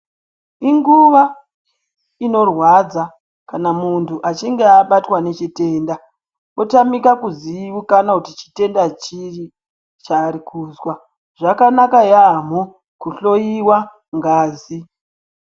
Inguva ino rwadza kana muntu achinge abatwa ne chitenda otamika kuzivikanwa chitenda chiri chaari kuzwa zvakanaka yamho ku hloyiwa ngazi.